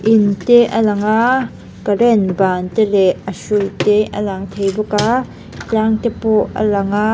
in te alang a current ban te leh a hrui te a lang theih bawk a tlang te pawh a lang a--